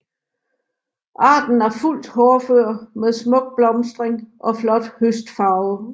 Arten er fuldt hårdfør med smuk blomstring og flot høstfarve